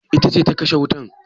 Ita ce ta kashe wutan?